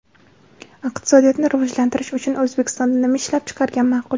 Iqtisodiyotni rivojlantirish uchun O‘zbekistonda nima ishlab chiqargan ma’qul?.